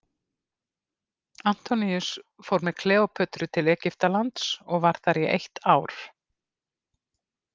Antoníus fór með Kleópötru til Egyptalands og var þar í eitt ár.